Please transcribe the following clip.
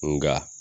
Nga